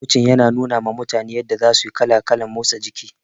Kocin yana nunawa mutane yadda za suyi kala kalan motsa jiki